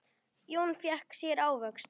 Jón fékk sér ávöxt.